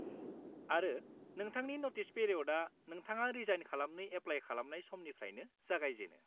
आरो, नोंथांनि नटिस पिरिय'डआ नोंथाङा रिजाइन खालामनो एप्लाय खालामनाय साननिफ्रायनो जागायजेनो।